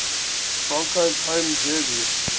broncos home jersey